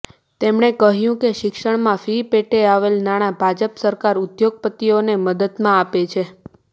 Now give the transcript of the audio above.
તેમણે કહ્યું કે શિક્ષણમાં ફી પેટે આવેલ નાણાં ભાજપ સરકાર ઉદ્યોગપતિઓને મદદમાં આપે છે